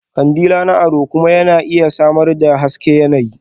Kandila na ado kuma yana iya samar da hasken yanayi.